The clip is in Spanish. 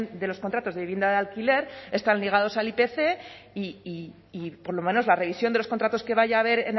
de los contratos de vivienda de alquiler están ligados al ipc y por lo menos la revisión de los contratos que vaya a haber